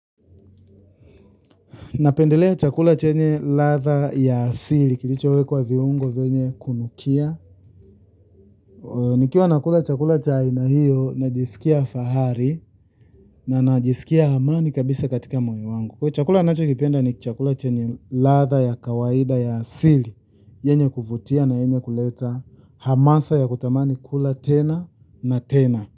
Napendelea chakula chenye ladha ya asili, kilichowekwa viungo vyenye kunukia. Nikiwa nakula chakula cha aina hiyo, najisikia fahari, na najisikia amani kabisa katika moyo wangu. Kwa chakula ninachokipenda ni chakula chenye ladha ya kawaida ya asili, yenye kuvutia na yenye kuleta hamasa ya kutamani kula tena na tena.